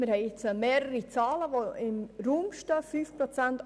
Im Raum stehen nun mehrere Zahlen: 5 und 8 Prozent.